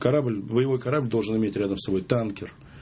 корабль боевой корабль должен иметь рядом с собой танкер